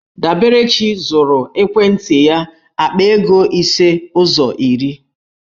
Daberechi zụrụ ekwentị ya akpa ego ise ụzọ iri.